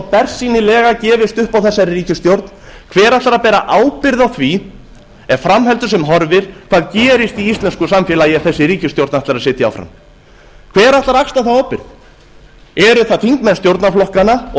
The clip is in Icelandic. bersýnilega gefist upp á þessari ríkisstjórn hver ætlar að bera ábyrgð á því ef fram heldur sem horfir hvað gerist í íslensku samfélagi ef þessi ríkisstjórn ætlar að sitja áfram hver ætlar að axla þá ábyrgð eru það þingmenn stjórnarflokkanna og